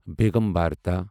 بیگم بھرتا